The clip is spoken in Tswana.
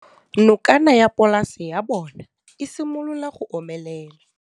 Nokana ya polase ya bona, e simolola go omelela.